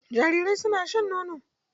Jarirai suna shan nono.